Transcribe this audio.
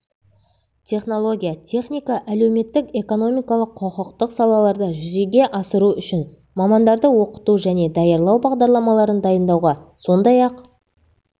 технология техника әлеуметтік экономикалық құқықтық салаларда жүзеге асыру үшін мамандарды оқыту және даярлау бағдарламаларын дайындауға сондай-ақ